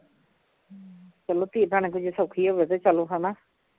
ਚੱਲੋ ਧੀ ਭੈਣ ਅੱਗੋਂ ਜੇ ਸੌਖੀ ਹੋਵੇ ਤੇ ਚੱਲੋ ਹੈ ਨਾ